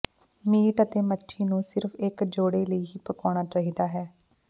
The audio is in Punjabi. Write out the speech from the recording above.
ਮੀਟ ਅਤੇ ਮੱਛੀ ਨੂੰ ਸਿਰਫ਼ ਇਕ ਜੋੜੇ ਲਈ ਹੀ ਪਕਾਉਣਾ ਚਾਹੀਦਾ ਹੈ